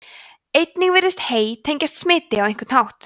einnig virðist hey tengjast smiti á einhvern hátt